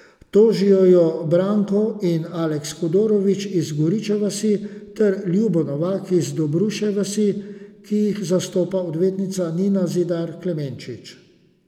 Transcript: Tožijo jo Branko in Aleks Hudorovič iz Goriče vasi ter Ljubo Novak iz Dobruške vasi, ki jih zastopa odvetnica Nina Zidar Klemenčič.